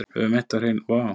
Höfum eitt á hreinu.